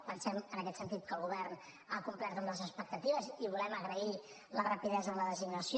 pensem en aquest sentit que el govern ha complert amb les expectatives i volem agrair la rapidesa en la designació